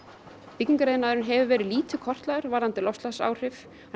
byggingariðnaðurinn hefur verið lítið kortlagður varðandi loftslagsáhrif og